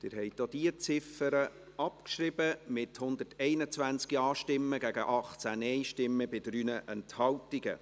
Sie haben die Ziffer 2 der Motion abgeschrieben, mit 121 Ja- und 18 Nein-Stimmen bei 3 Enthaltungen.